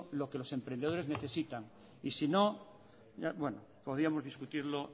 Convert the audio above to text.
lo que los emprendedores necesitan y si no podíamos discutirlo